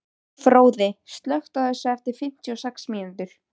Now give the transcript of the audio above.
Fróði, slökktu á þessu eftir fimmtíu og sex mínútur.